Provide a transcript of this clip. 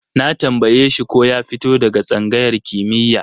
Na tambaye shi ko ya fito daga tsangayar kimiyya?